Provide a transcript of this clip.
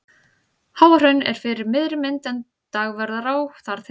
Háahraun er fyrir miðri mynd en Dagverðará þar til hægri.